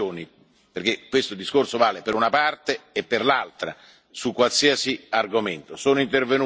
sanzioni, perché questo discorso vale per una parte e per l'altra, su qualsiasi argomento.